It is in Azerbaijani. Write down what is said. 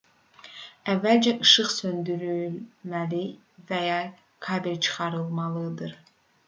əvvəlcə işıq söndürülməli və ya kabel çıxarılmalıdır